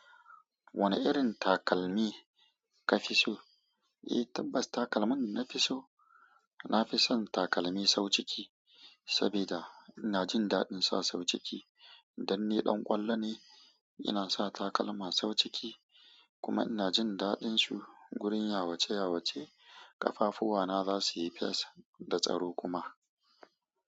Wane irin takalmi ka fi so? Eh, tabbas takalmin dana fi so. Na fi son takalmi sau ciki saboda ina jin daɗin sa sau ciki. Dan ni ɗan ƙwallo ne, ina sa takalma sau ciki kuma ina jin daɗin su wurin ya wuce ya wuce. Ƙafafuwana za su yi fes da tsaro kuma.